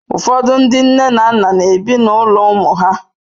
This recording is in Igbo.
Ụfọdụ ndi nne na nna bi n'ụlọ ụmụ ha.